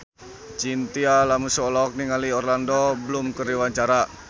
Chintya Lamusu olohok ningali Orlando Bloom keur diwawancara